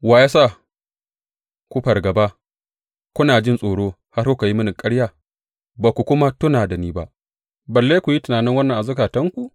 Wa ya sa ku fargaba, kuna jin tsoro har kuka yi mini ƙarya, ba ku kuma tuna da ni ba balle ku yi tunanin wannan a zukatanku?